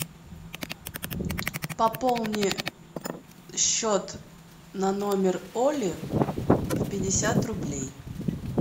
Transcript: пополни счет на номер оли в пятьдесят рублей